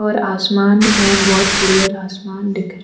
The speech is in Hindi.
आसमान में बहोत क्लियर आसमान दिख रहा --